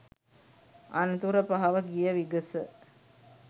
අනතුර පහව ගිය විගස